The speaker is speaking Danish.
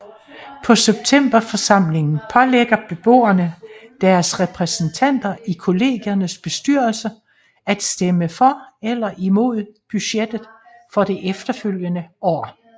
På septemberforsamlingen pålægger beboerne deres repræsentanter i Kollgiernes bestyrelse at stemme for eller imod budgettet for det efterfølgende år